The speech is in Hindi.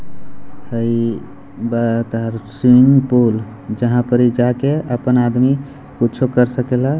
भई स्विमिंग पूल जहाँ पे इ जाकर अपना आदमी कुछो करे सकेला।